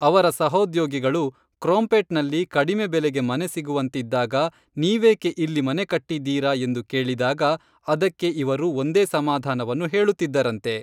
ಅವರ ಸಹೋದ್ಯೋಗಿಗಳು ಕ್ರೊಂಪೇಟ್ನಲ್ಲಿ ಕಡಿಮೆ ಬೆಲೆಗೆ ಮನೆ ಸಿಗುವಂತಿದ್ದಾಗ ನೀವೇಕೆ ಇಲ್ಲಿ ಮನೆ ಕಟ್ಟಿದ್ದೀರಾ ಎಂದು ಕೇಳಿದಾಗ ಅದಕ್ಕೆ ಇವರು ಒಂದೇ ಸಮಾಧಾನವನ್ನು ಹೇಳುತ್ತಿದ್ದರಂತೆ